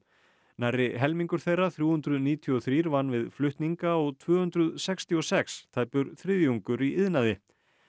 nærri helmingur þeirra þrjú hundruð níutíu og þrjú vann við flutninga og tvö hundruð sextíu og sex tæpur þriðjungur í iðnaði